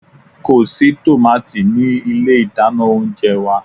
Ko si tomati ni ile idana ounjẹ wa